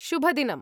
शुभदिनम्!